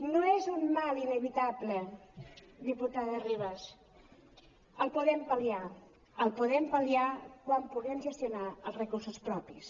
no és un mal inevitable diputada ribas el podem pal·liar el podrem pal·liar quan puguem gestionar els recursos propis